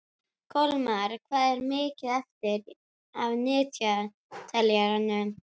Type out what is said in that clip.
Kolmar, hvað er mikið eftir af niðurteljaranum?